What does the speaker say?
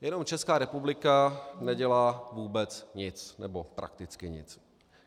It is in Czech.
Jenom Česká republika nedělá vůbec nic, nebo prakticky nic.